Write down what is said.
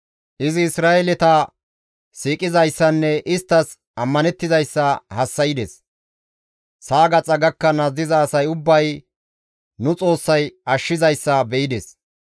Izi Isra7eeleta siiqizayssanne isttas ammanettizayssa hassa7ides; sa7a gaxa gakkanaas diza asay ubbay nu Xoossay ashshizayssa be7ides.